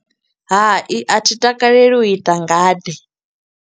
Hai, a thi takaleli u ita ngade.